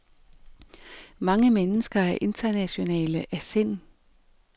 Mange mennesker er internationale af sind.